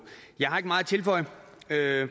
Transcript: jeg har ikke meget at tilføje